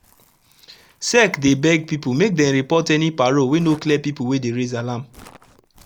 sec dey beg pipu make dem report any paro wey no clear pipo wey dey raise alarm